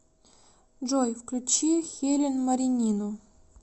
джой включи хелен маринину